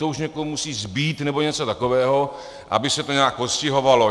To už někomu musí zbýt nebo něco takového, aby se to nějak postihovalo.